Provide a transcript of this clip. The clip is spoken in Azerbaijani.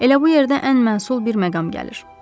Elə bu yerdə ən məsul bir məqam gəlir.